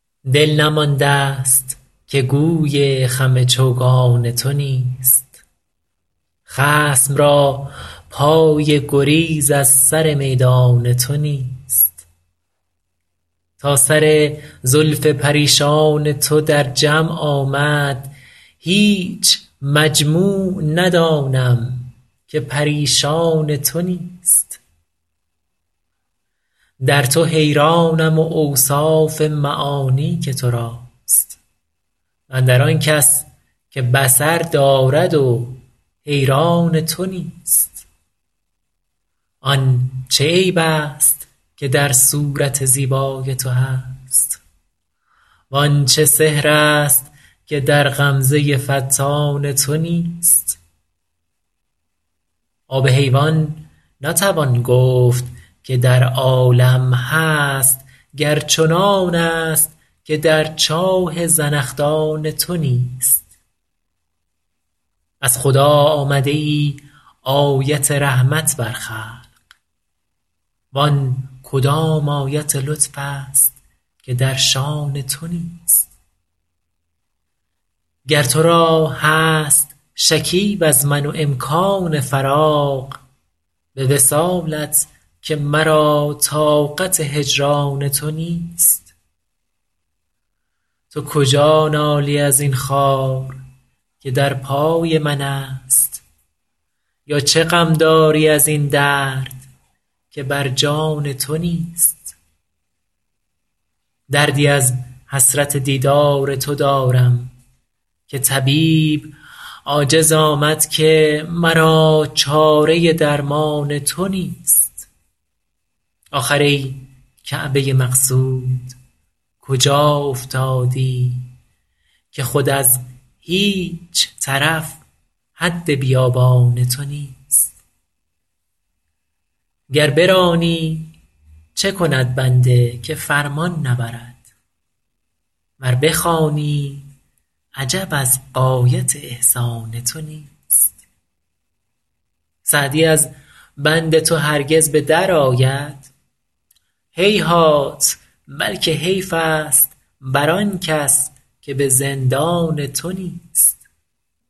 دل نمانده ست که گوی خم چوگان تو نیست خصم را پای گریز از سر میدان تو نیست تا سر زلف پریشان تو در جمع آمد هیچ مجموع ندانم که پریشان تو نیست در تو حیرانم و اوصاف معانی که تو راست و اندر آن کس که بصر دارد و حیران تو نیست آن چه عیب ست که در صورت زیبای تو هست وان چه سحر ست که در غمزه فتان تو نیست آب حیوان نتوان گفت که در عالم هست گر چنانست که در چاه زنخدان تو نیست از خدا آمده ای آیت رحمت بر خلق وان کدام آیت لطف ست که در شأن تو نیست گر تو را هست شکیب از من و امکان فراغ به وصالت که مرا طاقت هجران تو نیست تو کجا نالی از این خار که در پای منست یا چه غم داری از این درد که بر جان تو نیست دردی از حسرت دیدار تو دارم که طبیب عاجز آمد که مرا چاره درمان تو نیست آخر ای کعبه مقصود کجا افتادی که خود از هیچ طرف حد بیابان تو نیست گر برانی چه کند بنده که فرمان نبرد ور بخوانی عجب از غایت احسان تو نیست سعدی از بند تو هرگز به درآید هیهات بلکه حیف ست بر آن کس که به زندان تو نیست